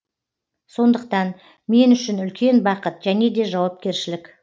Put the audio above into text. сондықтан мен үшін үлкен бақыт және де жауапкершілік